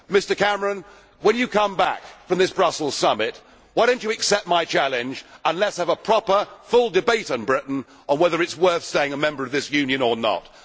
Mr Cameron, when you come back from this Brussels summit, why do you not accept my challenge and let us have a proper full debate on Britain and whether it is worth staying a member of this Union or not.